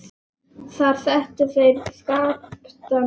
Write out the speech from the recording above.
Þar settu þeir Skapta niður.